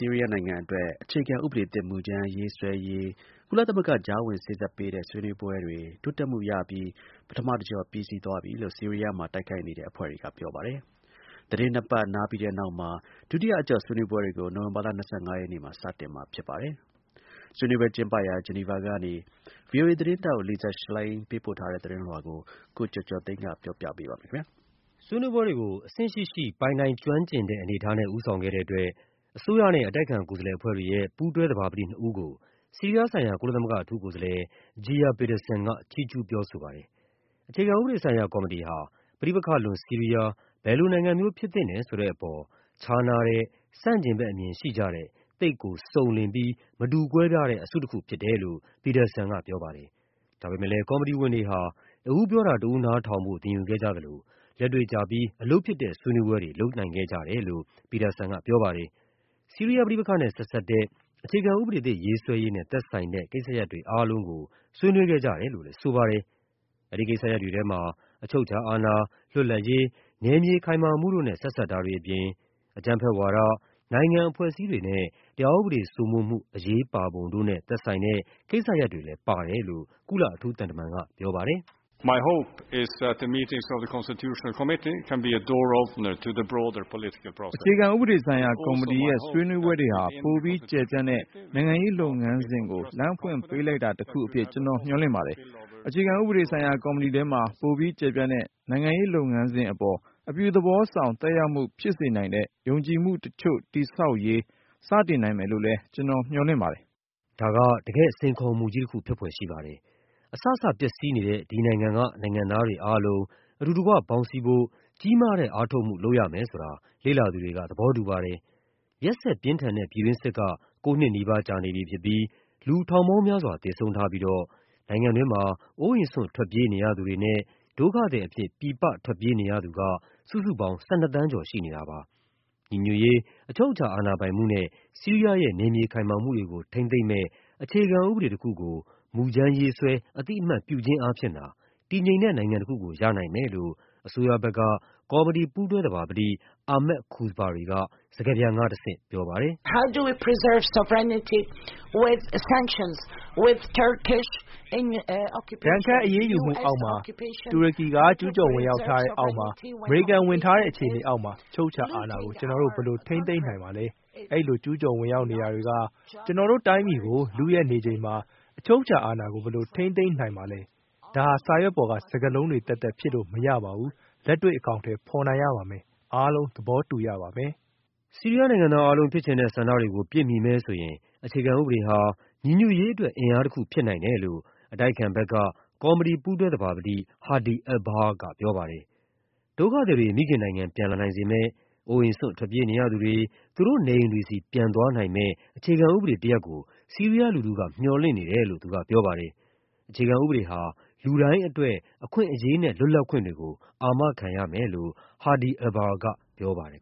ီးရီးယားနိုင်ငံအတွက် အခြေခံဥပဒေသစ် မူူကြမ်းရေးဆွဲရေး ကုလသမဂ္ဂ ကြားဝင်စေ့စပ်ပေးတဲ့ ဆွေးနွေးပွဲတွေ တိုးတက်မှုရပြီး အဆုံးသတ်သွားတယ်လို့ ဆီးရီးယားမှာ တိုက်ခိုက်နေတဲ့အဖွဲ့တွေက ပြောပါတယ်။ သီတင်း နှစ်ပတ်နားပြီးတဲ့နောက် ဒုတိယအကျော့ ဆွေးနွေးပွဲတွေကို နိုဝင်ဘာလ ၂၅ ရက်နေ့ စတင်မှာဖြစ်ပါတယ်။ ဆွေးနွေးပွဲကျင်းပရာ ဂျီနီဗာကနေ ဗွီအိုအေသတင်းထောက် Lisa Schlein ပေးပို့တဲ့သတင်းလွှာကို ကိုကျော်ကျော်သိန်းက ပြောပြပါမယ်။ ဆွေးနွေးပွဲတွေကို အဆင့်ရှိရှိ ပိုင်နိုင်ကျွမ်းကျင်တဲ့ အနေအထားနဲ့ ဦးဆောင်ခဲ့တဲ့အတွက် အစိုးရနဲ့ အတိုက်အခံ ကိုယ်စားလှယ်အဖွဲ့တွေရဲ့ ပူးတွဲသဘာပတိနှစ်ဦးကို ဆီးရီးယားဆိုင်ရာ ကုလသမဂ္ဂ အထူးကိုယ်စားလှယ် Geir Pedersen က ချီးကျူးပြောဆိုပါတယ်။ အခြေခံဥပဒေဆိုင်ရာ ကော်မတီဟာ ပဋိပက္ခလွန် ဆီးရီးယား ဘယ်လိုနိုင်ငံမျိုး ဖြစ်သင့်တယ်ဆိုတဲ့အပေါ် ခြားနားတဲ့ ဆန့်ကျင်ဘက်အမြင်ရှိကြတဲ့ သိပ်ကို စုံလင်ပြီး မတူကွဲပြားတဲ့ အစုတခုဖြစ်တယ်လို့ Pedersen ကပြောပါတယ်။ ဒါပေမယ့် ကော်မတီဝင်တွေဟာ တဦးပြောတာ တဦးနားထောင်ဖို့ သင်ယူခဲ့ကြသလို လက်တွေ့ကျပြီး အလုပ်ဖြစ်တဲ့ ဆွေးနွေးပွဲ တွေ လုပ်နိုင်ခဲ့ကြတယ်လို့ Pedersen ကပြောပါတယ်။ ဆီးရီးယားပဋိပက္ခနဲ့ ဆက်စပ်တဲ့၊ အခြေခံဥပဒေသစ် ရေးဆွဲရေးနဲ့ သက်ဆိုင်တဲ့ ကိစ္စရပ်တွေအားလုံးကို ဆွေးနွေး ခဲ့ကြတယ်လို့လည်းဆိုပါတယ်။ အဲဒီကိစ္စရပ်တွေထဲမှာ အချုပ်အခြာအာဏာ၊ လွတ်လပ်ရေး၊ နယ်မြေခိုင်မာမှုတို့နဲ့ ဆက်စပ်တာတွေ အပြင် အကြမ်းဖက်ဝါဒ၊ နိုင်ငံ အဖွဲ့အစည်းတွေနဲ့ တရားဥပဒေစိုးမိုးမှု အရေးပါပုံတို့နဲ့ သက်ဆိုင်တဲ့ကိစ္စရပ်တွေလည်းပါတယ်လို့ ကုလအထူးသံတမန်က ပြောပါ တယ်။ “အခြေခံဥပဒေဆိုင်ရာကော်မတီရဲ့ ဆွေးနွေးပွဲတွေဟာ ပိုပြီးကျယ်ပြန့်တဲ့ နိုင်ငံရေးလုပ်ငန်းစဉ်ကို လမ်းဖွင့်ပေးလိုက် တာတခုအဖြစ် ကျနော်မျှော်လင့်ပါတယ်။ အခြေခံဥပဒေဆိုင်ရာကော်မတီထဲမှာ ပိုပြီးကျယ်ပြန့်တဲ့ နိုင်ငံရေးလုပ်ငန်းစဉ်အပေါ် အပြုသဘောဆောင် သက်ရောက်မှုဖြစ်စေနိုင်တဲ့ ယုံကြည်မှုတချိုု့တည်ဆောက်ရေး စတင်နိုင်မယ်လို့လည်း ကျနော်မျှော်လင့်ပါ တယ်။” ဒါက တကယ့် စိန်ခေါ်မှုကြီးတခု ဖြစ်ဖွယ်ရှိပါတယ်။ အစစပျက်စီးနေတဲ့ ဒီနိုင်ငံက နိုင်ငံသားတွေ အားလုံးအတူတကွ ပေါင်းစည်း ဖို့ ကြီးမားတဲ့ အားထုတ်မှုလုပ်ရမယ်ဆိုတာ လေ့လာသူတွေက သဘောတူပါတယ်။ ရက်စက်ပြင်းထန်တဲ့ ပြည်တွင်းစစ်က ကိုးနှစ် နီးပါးကြာနေပြီဖြစ်ပြီး လူထောင်ပေါင်းများစွာ သေဆုံးထားပြိးတော့ နိုင်ငံတွင်းမှာ အိုးအိမ်စွန့်ထွက်ပြေးနေရသူတွေနဲ့ ဒုက္ခသည် အဖြစ် ပြည်ပထွက်ပြေးနေရသူက စုစုပေါင်း ၁၂ သန်းကျော်ရှိနေတာပါ။ ညီညွတ်ရေး၊ အချုပ်အခြာအာဏာပိုင်မှုနဲ့ ဆီးရီးယားရဲ့ နယ်မြေခိုင်မာမှုတွေကို ထိန်းသိမ်းမယ့် အခြေခံဥပဒေတခုကို မူကြမ်းရေး ဆွဲ အသိအမှတ်ပြုခြင်းအားဖြင့်သာ တည်ငြိမ်တဲ့နိုင်ငံတခုကို ရနိုင်မယ်လို့ အစိုးရဘက်က ကော်မတီပူးတွဲသဘာပတိ Ahmad Kuzbari က စကားပြန်ကတဆင့်ပြောပါတယ်။ “ဒဏ်ခတ်အရေးယူမှုအောက်မှာ၊ တူရကီက ကျူးကျော်ဝင်ရောက်ထားတဲ့အောက်မှာ၊ အမေရိကန် ဝင်ထားတဲ့ အခြေအနေအောက်မှာ အချုပ်အခြာအာဏာကို ကျနော်တို့ ဘယ်လိုထိန်းသိမ်းနိုင်မှာပါလဲ။ အဲဒီလိုကျူးကျော်ဝင်ရောက်နေတာ တွေက ကျနော်တို့တိုင်းပြည်ကို လုယက်နေချိန်မှာ အချုပ်အခြာ အာဏာကို ဘယ်လိုထိန်းသိမ်းနိုင်မှာပါလဲ။ ဒါဟာ စာရွက်ပေါ်က စကားလုံးတွေသက်သက် ဖြစ်လို့မရပါဘူး။ လက်တွေ့ အကောင်အထည်ဖော်နိုင်ရပါမယ်။ အားလုံး သဘောတူရပါမယ်။” ဆီးရီးယားနိုင်ငံသားအားလုံး ဖြစ်ချင်တဲ့ဆန္ဒတွေကို ပြည့်မီမယ်ဆိုရင် အခြေခံဥပဒေဟာ ညီညွတ်ရေးအတွက် အင်အားတခု ဖြစ်နိုင်တယ်လို့ အတိုက်အခံဘက်က ကော်မတီပူးတွဲသဘာပတိ Hadi Albahra ကပြောပါတယ်။ ဒုက္ခသည်တွေ မိခင်နိုင်ငံ ပြန်လာနိုင်စေမယ့်၊ အိုးအိမ်စွန့် ထွက်ပြေးနေရသူတွေ သူတို့နေအိမ်တွေဆီ ပြန်သွားနိုင်မယ့် အခြေခံ ဥပဒေတရပ်ကို ဆီးရီးယားလူထုက မျှော်လင့်နေတယ်လို့ သူကပြောပါတယ်။ အခြေခံဥပဒေဟာ လူတိုင်းအတွက် အခွင့်အရေးနဲ့ လွတ်လပ်ခွင်တွေကို အာမခံရမယ်လို့ Hadi Albahra ကပြောပါတယ်